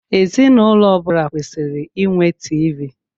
Ezinụlọ ọbula kwesịrị ịnwe TV.